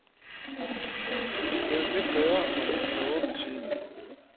Vi er blevet lidt bedre og lidt klogere med tiden.